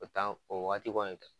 O waati kɔni